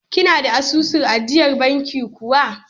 Kina da asusun ajiyar banki kuwa?